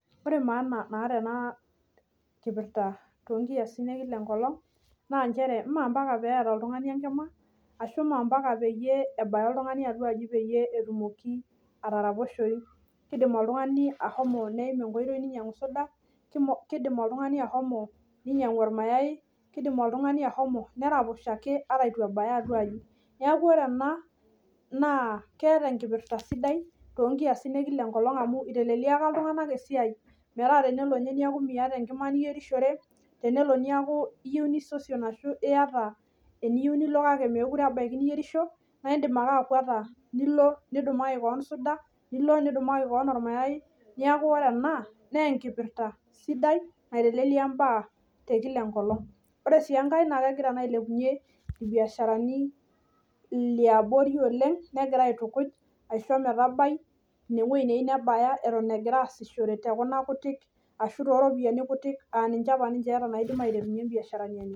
Ore maana naata enaa kipirta tonkiasin e kila enkolong' naa nchere moompaka peata oltung'ani enkima ashu moompaka peyie ebaya oltung'ani atua aji peyie etumoki ataraposhoyu. Keidim oltung'ani ashomo neim enkoitoi neinyang'u  soda, [kei] keidim oltung'ani ashomo neinyang'u olmayai, keidim oltung'ani ashomo neraposho ake ata eitu ebaya atua aji. Neaku ore ena naa keata enkipirta sidai toonkiasin e  kila enkolong' amu eiteleliaki iltung'anak esiai metaa tenelo ninye neaku miata enkima niyierishore, tenelo niaku iyou nisosion ashu iata eniyou nilo kake mekure ebaiki niyierisho naaindim ake akuata nilo nidumaki koon , nilo nidumaki koon olmayai nekau ore enaa neenkipirta sidai naitelelia imbaa te kila enkolong'. Ore sii engai naa kegira naa ailepunye ilbiasharani liabori oleng' negira aitukuj aisho metabai inewuei neyu nebaya eton egiraasishore te kuna kutik ashu too ropiani kutik aaninche apa eata naidim aiterunye imbiasharani enye.